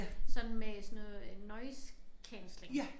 Sådan med sådan noget øh noise cancelling